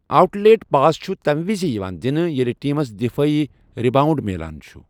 Out late pass چھُ تَمہِ وِزِ یِوان دِنہٕ ییٚلہِ ٹیٖمس دفٲعی رِباونڈ میلان چھ۔